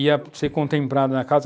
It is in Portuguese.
ia ser contemplada na casa.